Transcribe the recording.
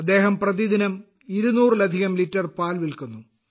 അദ്ദേഹം പ്രതിദിനം ഇരുനൂറിലധികം ലിറ്റർ പാൽ വിൽക്കുന്നു